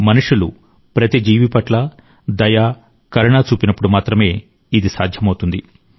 మనుషులు ప్రతి జీవి పట్ల దయ కరుణ చూపినప్పుడు మాత్రమే ఇది సాధ్యమవుతుంది